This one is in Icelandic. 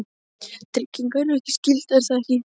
tryggingar eru skylda, er það ekki?